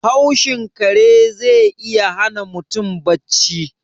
Haushin kare ze iya hana mutum bacci.